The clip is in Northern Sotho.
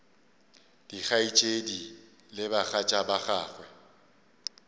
dikgaetšedi le bagatša ba gagwe